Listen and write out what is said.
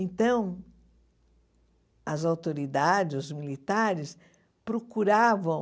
Então, as autoridades, os militares, procuravam